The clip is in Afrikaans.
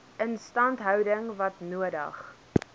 instandhouding wat nodig